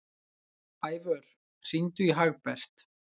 Ævör, hringdu í Hagbert.